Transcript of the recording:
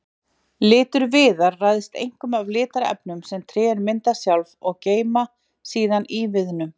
Litur viðar ræðst einkum af litarefnum sem trén mynda sjálf og geyma síðan í viðnum.